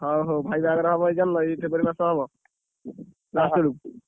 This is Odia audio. ହଉ ହଉ ଭାଇ ବାହାଘର ହବ ଜାଣିଲ ଏଇ ଫେବୃୟାରୀ ମାସ ହବ, last ଆଡକୁ।